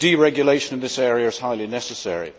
deregulation in this area is highly necessary.